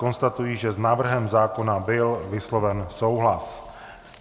Konstatuji, že s návrhem zákona byl vysloven souhlas.